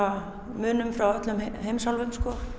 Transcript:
munum frá öllum heimsálfum